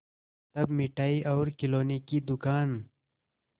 तब मिठाई और खिलौने की दुकान